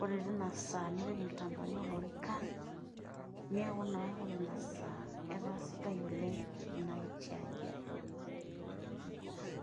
ore tinasaa nipik inkitambaani oo lorikan. Neeku naa ore ina saa etaa sidai Ina kiti aji.